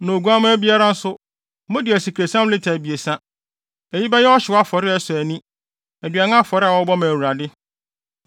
na oguamma biara nso, mode asikresiam lita abiɛsa. Eyi bɛyɛ ɔhyew afɔre a ɛsɔ ani, aduan afɔre a wɔbɔ ma Awurade.